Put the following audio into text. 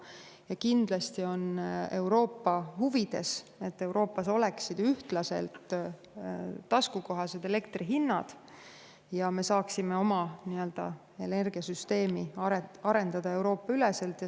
Ja kindlasti on Euroopa huvides see, et Euroopas oleksid ühtlaselt taskukohased elektri hinnad ja me saaksime oma energiasüsteemi arendada üle Euroopa.